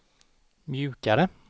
mjukare